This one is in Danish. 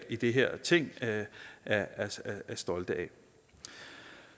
i det her ting er stolt af